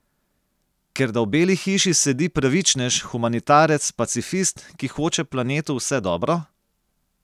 Ker da v Beli hiši sedi pravičnež, humanitarec, pacifist, ki hoče planetu vse dobro?